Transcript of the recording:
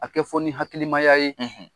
A kɛ fɔ ni hakilimaya ye